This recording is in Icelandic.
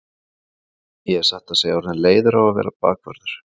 Ég er satt að segja orðinn leiður á að vera bakvörður.